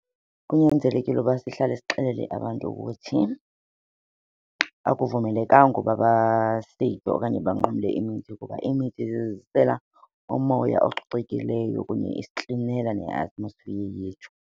Kunyanzelekile ukuba sihlale sixelele abantu ukuthi akuvumelekanga uba okanye banqumle imithi kuba imithi isizisela umoya ococekileyo kunye isiklinela ne-atmosphere yethu.